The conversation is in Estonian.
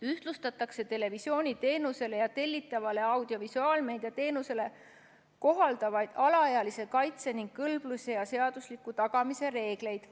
Ühtlustatakse televisiooniteenusele ja tellitavale audiovisuaalmeedia teenusele kohaldatavaid alaealiste kaitse ning kõlbluse ja seaduslikkuse tagamise reegleid.